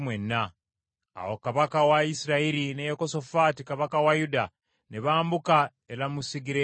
Awo kabaka wa Isirayiri ne Yekosafaati kabaka wa Yuda ne bambuka e Lamosugireyaadi.